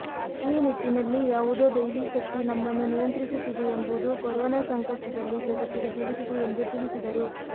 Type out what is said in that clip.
ಈ ನಿಟ್ಟಿನಲ್ಲಿ ಯಾವುದೋ ದೈವಿ ಶಕ್ತಿ ನಮ್ಮನ್ನು ನಿಯಂತ್ರಿಸುತ್ತಿದೆ ಎಂಬುದು ಕೊರೊನಾ ಸಂಕಷ್ಟದಲ್ಲಿ ಜಗತ್ತಿಗೆ ತಿಳಿದಿದೆ ಎಂದು ತಿಳಿಸಿದರು